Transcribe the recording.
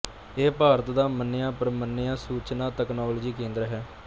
ਇਹ ਭਾਰਤ ਦਾ ਮੰਨਿਆਪ੍ਰਮੰਨਿਆ ਸੂਚਨਾ ਤਕਨਾਲੋਜੀ ਕੇਂਦਰ ਹੈ